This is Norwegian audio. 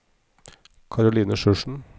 Karoline Sjursen